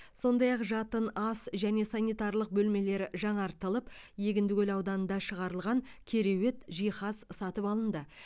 сондай ақ жатын ас және сантиралық бөлмелері жаңартылып егіндікөл ауданында шығарылған кереует жиһаз сатып алынды